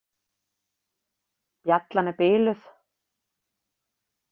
Bjallan er biluð.